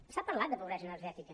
s’ha parlat de pobresa energètica